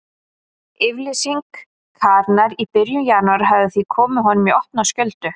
Yfirlýsing Karenar í byrjun janúar hafði því komið honum í opna skjöldu.